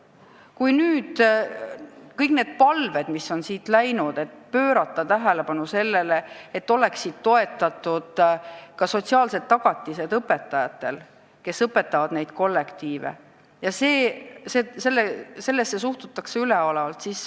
Siit on teele saadetud palveid pöörata tähelepanu sellele, et oleksid ka sotsiaalsed tagatised inimestele, kes õpetavad neid kollektiive, aga sellesse on suhtutud üleolevalt.